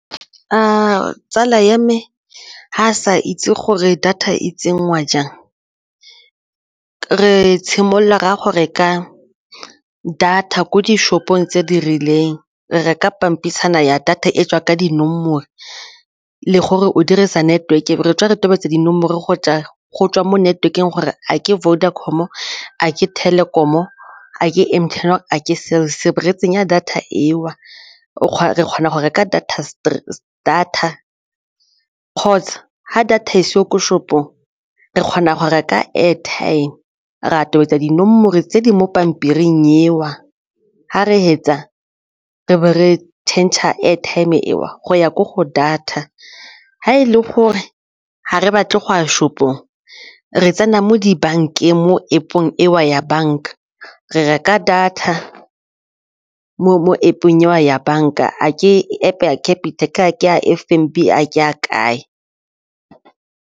Tsala ya me ga a sa itse gore data e tsenngwa jang re tshimolola reye go reka data ko di-shop-ong tse di rileng re reka pampitshana ya data e tswa ka dinomoro le gore o dirisa network e be re tswa re tobetsa dinomoro go tswa mo network-eng gore a ke Vodacom, a ke Telkom-o, a ke M_T_N, a ke Cell_C e be re tsenya data eo re kgona go reka data kgotsa ha data e seo ko shop o re kgona go reka airtime ra a tobetsa dinomoro tse di mo pampiring eo ga re fetsa re be re tšhentšha airtime eo go ya ko go data ga e le gore ga re batle go a shop-ong re tsena mo dibankeng mo App-ong eo ya banka re reka data mo App-ong eo ya banka, ke App ya Capitec, a ke a F_N_B, a ke a kae.